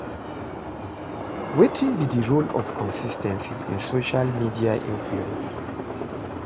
Wetin be di role of consis ten cy in social media influence?